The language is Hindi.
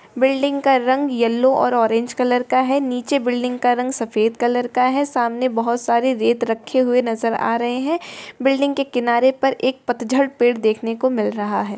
बिल्डिंग का रंग येल्लो और ऑरेंज कलर का है नीचे बिल्डिंग का रंग सफेद कलर है सामने बहुत सारे रेत रखे हुए नजर आ रहे है बिल्डिंग के किनारे पर एक पतझड़ पेड़ देखने को मिल रहा है।